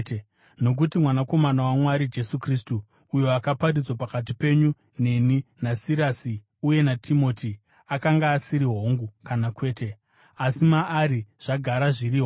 Nokuti Mwanakomana waMwari, Jesu Kristu, uyo akaparidzwa pakati penyu neni naSirasi uye naTimoti, akanga asiri, “Hongu” kana “Kwete”, asi maari zvakagara zviri “Hongu.”